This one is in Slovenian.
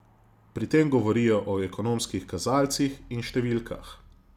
Pri tem govorijo o ekonomskih kazalcih in številkah.